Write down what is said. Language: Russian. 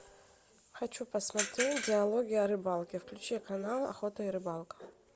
хочу посмотреть диалоги о рыбалке включи канал охота и рыбалка